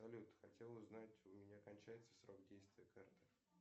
салют хотел узнать у меня кончается срок действия карты